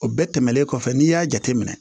O bɛɛ tɛmɛnen kɔfɛ n'i y'a jateminɛ